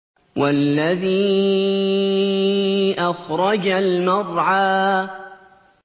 وَالَّذِي أَخْرَجَ الْمَرْعَىٰ